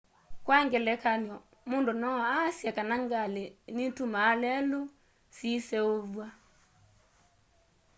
kwa ngelekany'o mũndũ no aasye kana ngalĩ nitumaa lelũ siseũvw'a